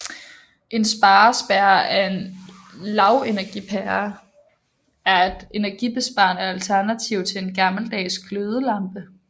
En sparepære eller lavenergipære er et energibesparende alternativ til en gammeldags glødelampe